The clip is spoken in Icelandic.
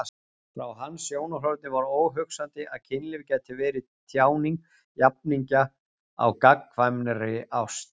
Frá hans sjónarhorni var óhugsandi að kynlíf gæti verið tjáning jafningja á gagnkvæmri ást.